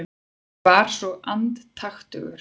Ég var svo andaktugur.